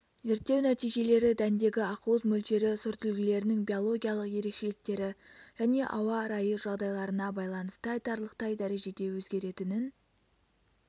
зерттеу нәтижелері дәндегі ақуыз мөлшері сортүлгілердің биологиялық ерекшеліктері және ауа райы жағдайларына байланысты айтарлықтай дәрежеде өзгеретінін